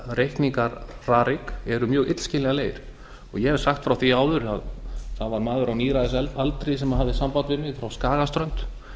reikningar rarik eru mjög illskiljanlegir ég hef sagt frá því áður að það var maður á níræðisaldri sem hafði samband við mig frá skagaströnd